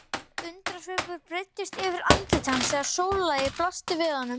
Undrunarsvipur breiddist yfir andlit hans þegar sólarlagið blasti við honum.